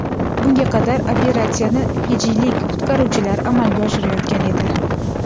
Bunga qadar operatsiyani fijilik qutqaruvchilar amalga oshirayotgan edi.